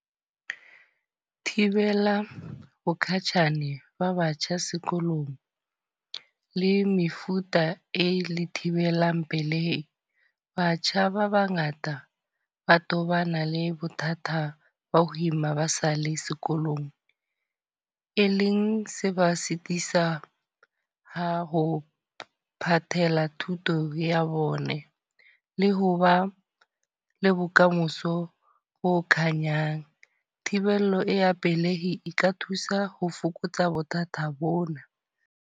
Thibela bokatjhane ba batjha sekolong, le mefuta e le thibelang pelehi. Batjha ba ba ngata ba tobana le bothata ba ho ima ba sa le sekolong. E leng se ba sitisa ha ho phathela thuto ya bone. Le ho ba le bokamoso bo khanyang. Thibelo ya pelehi e ka thusa ho fokotsa bothata bona.